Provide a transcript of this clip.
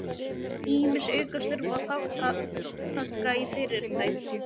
Ýmis aukastörf og þátttaka í fyrirtækjum